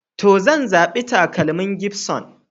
To, zan zabi takalmin gibson.